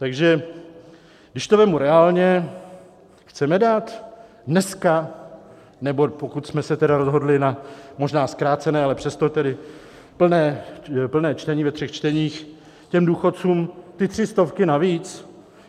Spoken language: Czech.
Takže když to vezmu reálně: chceme dát dneska - nebo pokud jsme se tedy rozhodli na možná zkrácené, ale přesto tedy plné čtení ve třech čteních - těm důchodcům ty tři stovky navíc?